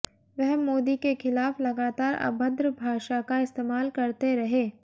वह मोदी के खिलाफ लगातार अभद्र भाषा का इस्तेमाल करते रहे